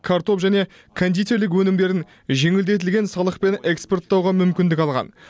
картоп және кондитерлік өнімдерін жеңілдетілген салықпен экспорттауға мүмкіндік алған